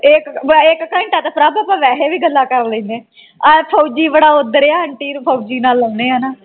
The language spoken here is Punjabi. ਇਕ ਵੈਸੇ ਇਕ ਘੰਟਾ ਤੇ ਪ੍ਰਭ ਆਪਾਂ ਵੈਸੇ ਵੀ ਗੱਲਾਂ ਕਰ ਲੈਨੇ ਆਂ ਤੇ ਆ ਫੋਜੀ ਬੜਾ ਆਉਂਦਾ ਰਿਹਾ ਅੰਟੀ ਨਾਲ ਲਗਾਓਨੇ ਆਂ।